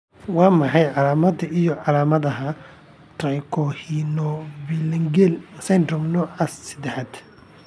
Waa maxay calaamadaha iyo calaamadaha Trichorhinophalangeal syndrome nooca sedaaxaad ?